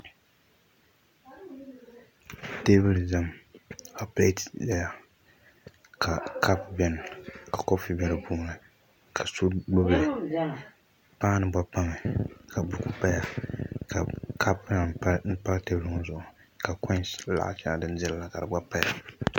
Tabuli ʒɛmi ka pilat ʒɛya ka kapu bɛni ka koofi bɛ dipuuni ka so gbubili paan- ni gba pami ka buku paya ka koinsI laɣ' shɛŋa din dirila ka di gba paya